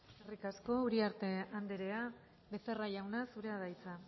eskerrik asko uriarte andrea becerra jauna zurea da hitza